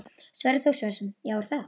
Sverrir Þór Sverrisson: Já, er það?